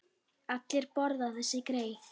Allir borða þessi grey.